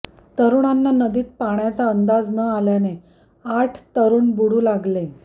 तरुणांना नदीत पाण्याचा अंदाज न आल्याने आठ तरुण बुडू लागले